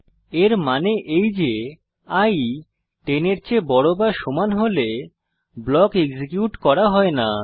এর মানে এই যে i 10 এর চেয়ে বড় বা সমান হলে ব্লক এক্সিকিউট করা হয় না